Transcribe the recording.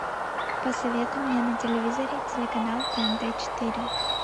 посоветуй мне на телевизоре телеканал тнт четыре